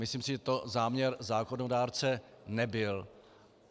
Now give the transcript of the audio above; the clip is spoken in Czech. Myslím si, že to záměr zákonodárce nebyl.